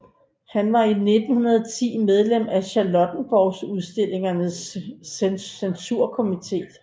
Han var 1910 medlem af Charlottenborgudstillingens censurkomité